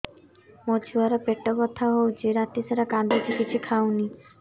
ମୋ ଛୁଆ ର ପେଟ ବଥା ହଉଚି ରାତିସାରା କାନ୍ଦୁଚି କିଛି ଖାଉନି